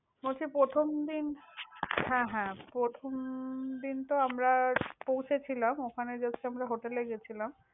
বলছি, প্রথমদিন, হ্যাঁ, হ্যাঁ। প্রথম~ দিন তো আমরা পৌঁছেছিলাম। ওখানে just আমরা hotel এ গেছিলাম।